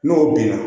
N'o binna